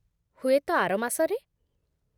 ହୁଏତ ଆର ମାସରେ ।